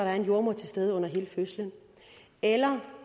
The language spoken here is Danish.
er en jordemoder til stede under hele fødslen eller